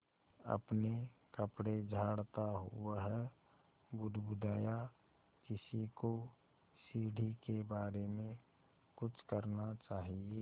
अपने कपड़े झाड़ता वह बुदबुदाया किसी को सीढ़ी के बारे में कुछ करना चाहिए